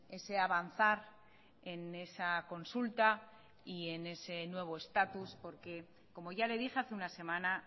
ese avanzar en esa consulta y en ese nuevo estatus porque como ya le dije hace una semana